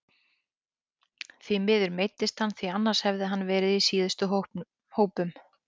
Því miður meiddist hann því annars hefði hann verið í síðustu hópum.